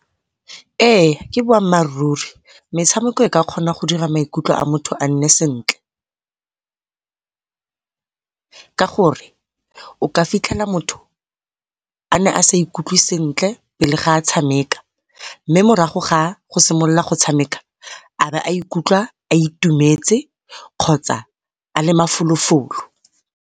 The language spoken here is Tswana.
Ee, ke boammaaruri metshameko e ka kgona go dira gore maikutlo a motho a nne sentle. Ka gore o ka fitlhela motho ne a sa ikutlwe sentle pele ga a tshameka mme morago ga go simolola go tshameka a be a ikutlwa a itumetse kgotsa a le mafolofolo.